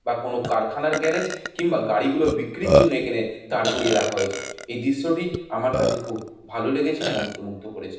বা কোনো কারখানার গ্যারেজ কিংবা গাড়ি গুলো বিক্রির জন্য এখানে দাঁড় করিয়ে রাখা হয়েছে এই দৃশ্যটি আমার কাছে খুব ভালো লেগেছে মন্ত্রমুগ্ধ করেছে।